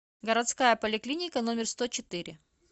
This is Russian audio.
городская поликлиника номер сто четыре